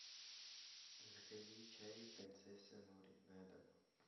закажи чай принцесса нури на дом